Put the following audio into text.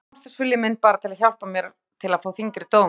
Kannski var samstarfsvilji minn bara að hjálpa mér til að fá þyngri dóm.